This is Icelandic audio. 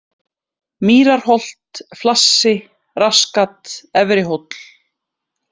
Mýrarholt, Flassi, Rassgat, Efrihóll